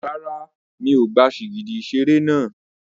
Rárá, mi ò gba sìgìdì ìṣeré náà.